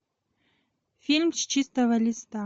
фильм с чистого листа